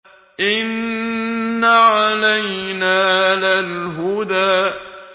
إِنَّ عَلَيْنَا لَلْهُدَىٰ